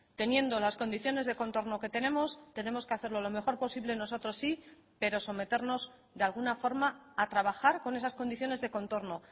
teniendo las condiciones de contorno que tenemos tenemos que hacerlo lo mejor posible nosotros sí pero someternos de alguna forma a trabajar con esas condiciones de contorno